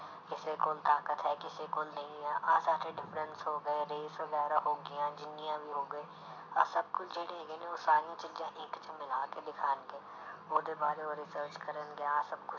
ਕਿਸੇ ਕੋਲ ਤਾਕਤ ਹੈ ਕਿਸੇ ਕੋਲ ਨਹੀਂ ਹੈ, ਆਹ ਸਾਰੇ difference ਹੋ ਗਏ ਵਗ਼ੈਰਾ ਹੋ ਗਈਆਂ ਜਿੰਨੀਆਂ ਵੀ ਹੋ ਗਏ ਆਹ ਸਭ ਕੁਛ ਜਿਹੜੇ ਹੈਗੇ ਨੇ ਉਹ ਸਾਰੀਆਂ ਚੀਜ਼ਾਂ ਇੱਕ 'ਚ ਮਿਲਾ ਕੇ ਦਿਖਾਉਣਗੇ ਉਹਦੇ ਬਾਰੇ ਉਹ research ਕਰਨ ਗਿਆ ਸਭ